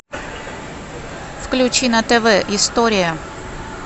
включи на тв история